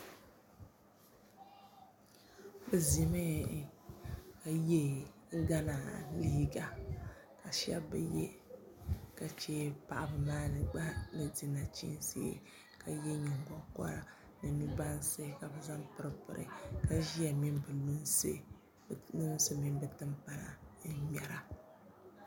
Bi ʒimi ka yɛ gana liiga ka shab bi yɛ ka chɛ paɣaba maa mii gba ni di nachiinsi ka yɛ nyingokoriti ni nu bansi ka bi zaŋ ban piri piri ka ʒiya mini bi lunsi mini bi timpana n ŋmɛra